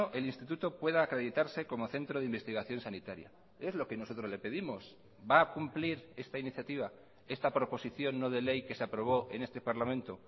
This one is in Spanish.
el instituto pueda acreditarse como centro de investigación sanitaria es lo que nosotros le pedimos va a cumplir esta iniciativa esta proposición no de ley que se aprobó en este parlamento